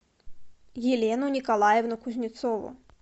елену николаевну кузнецову